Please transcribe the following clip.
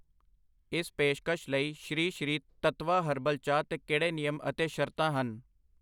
ਇਸ ਪੇਸ਼ਕਸ਼ ਲਈ ਸ਼੍ਰੀ ਸ਼੍ਰੀ ਤੱਤਵ ਹਰਬਲ ਚਾਹ 'ਤੇ ਕਿਹੜੇ ਨਿਯਮ ਅਤੇ ਸ਼ਰਤਾਂ ਹਨ?